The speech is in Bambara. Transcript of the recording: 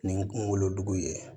Ni kungolo dugun ye